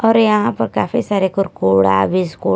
और यहां पर काफी सारे कुरकुरा बिस्किट --